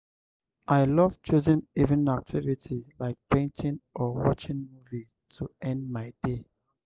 i love choosing evening activity like painting or watching movie to end my day.